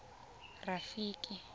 rafiki